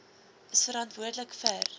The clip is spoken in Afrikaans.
is verantwoordelik vir